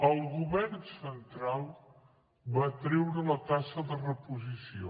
el govern central va treure la taxa de reposició